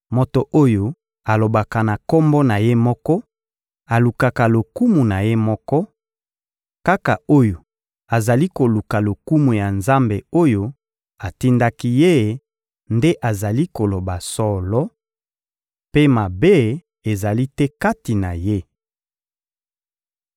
Moto oyo alobaka na kombo na ye moko alukaka lokumu na ye moko; kaka oyo azali koluka lokumu ya Nzambe oyo atindaki Ye nde azali koloba solo, mpe mabe ezali te kati na Ye.